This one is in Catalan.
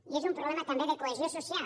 i és un problema també de cohesió social